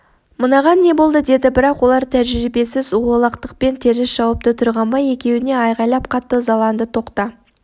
мынаған не болды деді бірақ олар тәжірибесіз олақтықпен теріс шауыпты тұрғанбай екеуіне айғайлап қатты ызаланды тоқта